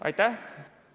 Aitäh!